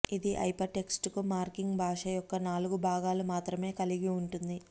ఇది hypertext marking భాష యొక్క నాలుగు భాగాలు మాత్రమే కలిగివుంటుంది